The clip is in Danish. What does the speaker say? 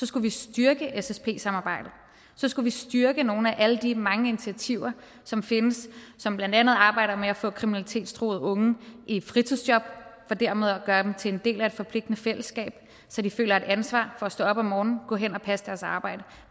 skulle vi styrke ssp samarbejdet så skulle vi styrke nogle af alle de mange initiativer som findes som blandt andet arbejder med at få kriminalitetstruede unge i fritidsjob for dermed at gøre dem til en del af et forpligtende fællesskab så de føler et ansvar for at stå op om morgenen og gå hen og passe deres arbejde